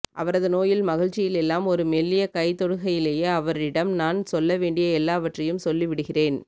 அவரது நோயில் மகிழ்ச்சியில் எல்லாம் ஒரு மெல்லிய கைதொடுகையிலேயே அவரிடம் நான் சொல்லவேண்டிய எல்லாவற்றையும் சொல்லிவிடுகிறேன்